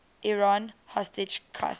iran hostage crisis